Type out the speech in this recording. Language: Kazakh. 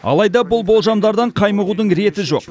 алайда бұл болжамдардан қаймығудың реті жоқ